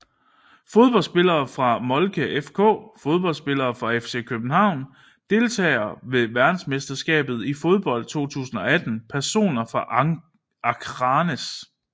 Fodboldspillere fra Molde FK Fodboldspillere fra FC København Deltagere ved verdensmesterskabet i fodbold 2018 Personer fra Akranes